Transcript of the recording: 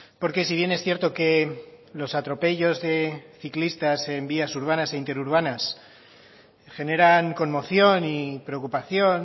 porque si bien es cierto que los atropellos de ciclistas en vías urbanas e interurbanas generan conmoción y preocupación